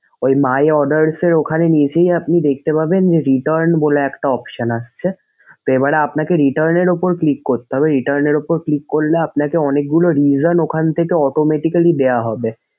ঐ my orders এর নিচেই আপনি দেখতে পাবেন যে return বলে একটা option আসছে। এবার আপনাকে return এর উপর click করতে হবে। return এর উপর click করলে আপনাকে অনেকগুলো reason ওখান থেকে automatically দেওয়া হবে।